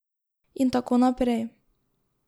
In tako naprej.